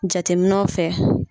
Jateminɛw fɛ